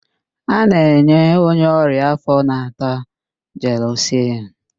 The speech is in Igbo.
A na-enye onye ọrịa áfó na-ata jelusịl.